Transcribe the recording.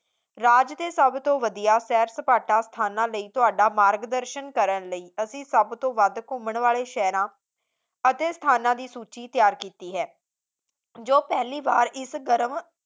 ਰਾਜ ਦੇ ਸਭ ਤੋਂ ਵਧੀਆ ਸੈਰ ਸਪਾਟਾ ਸਥਾਨ ਲਈ ਤੁਹਾਡਾ ਮਾਰਗਦਰਸ਼ਨ ਕਰਨ ਦੇ ਲਈ ਅਸੀਂ ਸਭ ਤੋਂ ਵੱਧ ਘੁੰਮਣ ਵਾਲੇ ਸ਼ਹਿਰਾਂ ਅਤੇ ਸਥਾਨ ਦੀ ਸੂਚੀ ਤਿਆਰ ਕੀਤੀ ਹੈ ਜੋ ਪਹਿਲੀ ਵਾਰ ਇਸ ਗਰਮ